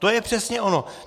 To je přesně ono.